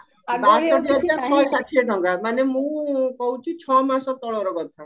ବାଷଠି ହଜାର ଶହେ ଷାଠିଏ ଟଙ୍କା ମାନେ ମୁଁ କହୁଚି ଛ ମାସ ତଳର କଥା